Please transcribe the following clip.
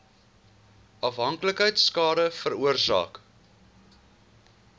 afhanklikheid skade veroorsaak